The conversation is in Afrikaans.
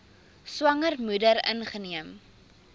swanger moeder ingeneem